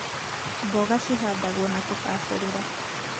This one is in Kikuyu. mboga cihandagwo na kũbaacĩrĩra